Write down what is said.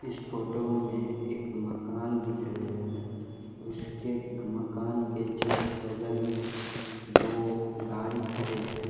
इस photo में एक मकान दिख रहे हैं उसके मकान के जस्ट बगल में दो गाड़ी खड़ी है।